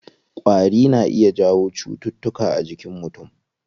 Ƙwari na iya jawo cutuka a jinkin mutum.